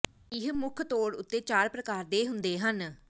ਇਹ ਮੁੱਖ ਤੌਰ ਉੱਤੇ ਚਾਰ ਪ੍ਰਕਾਰ ਦੇ ਹੁੰਦੇ ਹਨ